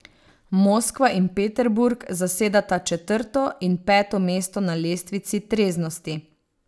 Moskva in Peterburg zasedata četrto in peto mesto na lestvici treznosti.